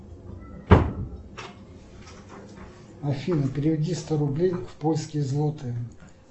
афина переведи сто рублей в польские злоты